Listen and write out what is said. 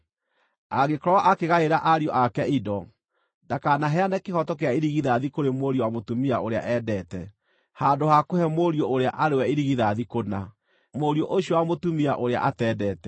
angĩkorwo akĩgaĩra ariũ ake indo, ndakanaheane kĩhooto kĩa irigithathi kũrĩ mũriũ wa mũtumia ũrĩa eendete, handũ ha kũhe mũriũ ũrĩa arĩ we irigithathi kũna, mũriũ ũcio wa mũtumia ũrĩa atendete.